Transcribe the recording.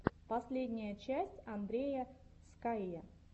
последняя часть андрея скайя